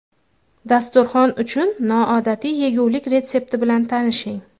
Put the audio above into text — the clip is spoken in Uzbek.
Dasturxon uchun noodatiy yegulik retsepti bilan tanishing.